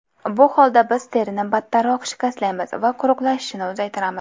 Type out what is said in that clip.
Bu holda biz terini battarroq shikastlaymiz va quruqlashishini uzaytiramiz.